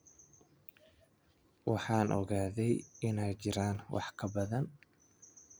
Waan ogahay inay jiraan wax ka badan.